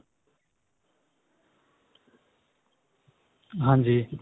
ਹਾਂਜੀ